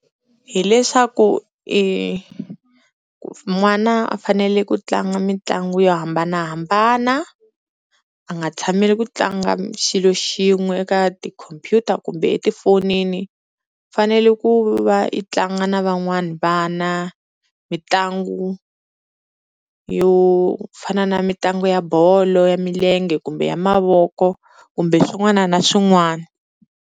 Hi leswaku n'wana a fanele ku tlanga mitlangu yo hambanahambana a nga tshameli ku tlanga xilo xin'we eka tikhompyuta kumbe etifonini, u fanele ku va i tlanga na van'wana vana mitlangu yo fana na mitlangu ya bolo ya milenge kumbe ya mavoko kumbe swin'wana na swin'wana.